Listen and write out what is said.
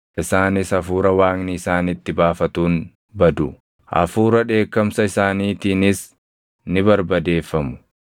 Isaanis hafuura Waaqni isaanitti baafatuun badu; hafuuraa dheekkamsa isaaniitiinis ni barbadeeffamu.